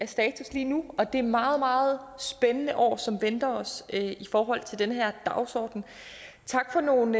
status lige nu og det meget meget spændende år som venter os i forhold til den her dagsorden tak for nogle